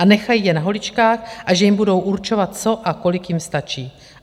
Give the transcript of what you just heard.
A nechají je na holičkách a že jim budou určovat co a kolik jim stačí.